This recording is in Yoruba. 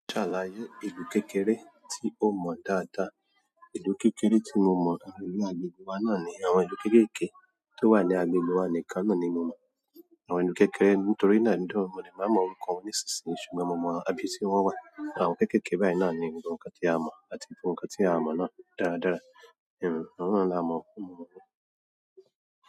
Ṣàlàyé ìlú kékeré tí o mọ dáadáa. Ìlú kékeré tí mo mọ̀, ìlú agbègbè wa náà ni àwọn ìlú kéékèèké tó wà ní agbègbè wa nìkan náà ni mo mọ̀. Àwọn ìlú kékeré, nítorí náà nígbà mìíràn, mo lè máa mọ̀ orúkọ wọn nísinsìnyí, ṣùgbọ́n mo mọ ibi tí wọ́n wà. Àwọn kéékèèké báyìí náà ni nǹkan tí a mọ̀ àti nǹkan tí a mọ̀ náà dáradára. Àwọn náà la mo mọ̀.